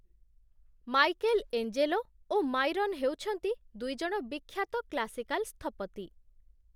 Michael Angelo ଓ Myron ହେଉଛନ୍ତି ଦୁଇଜଣ ବିଖ୍ୟାତ କ୍ଲାସିକାଲ୍ ସ୍ଥପତି